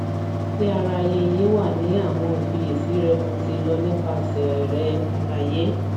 dearayeye wa ni awọn ifiyesi rẹmo ti lọ nipasẹ rẹ alaye